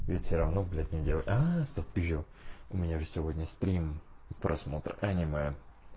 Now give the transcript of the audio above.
ведь всё равно блять не делать стоп пизжу у меня же сегодня стрим просмотр аниме